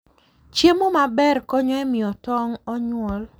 Chiemo maber konyo e miyo tong' onyuol.